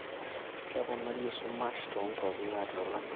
keponari esumash toonkuapi naati olameyu